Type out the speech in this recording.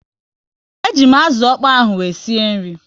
E ji m azụ ọkpọ ahụ wee sie nri